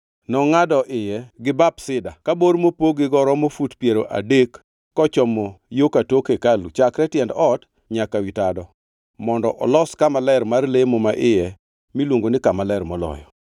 Nongʼado iye gi bap sida ka bor mopog gigo romo fut piero adek kochomo yo ka tok hekalu chakre tiend ot nyaka wi tado mondo olos kama ler mar lemo maiye miluongo ni Kama Ler Moloyo.